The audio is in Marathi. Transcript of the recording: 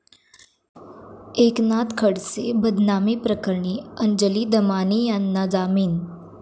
एकनाथ खडसे बदनामी प्रकरणी अंजली दमानियांना जामीन